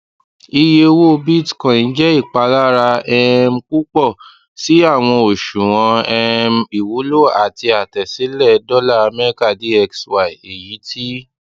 iye owó bitcoin jẹ ìpalára um púpọ̀ si awọn òṣùwọ̀n um iwulo ati àtẹsílẹ dollar america dxy eyiti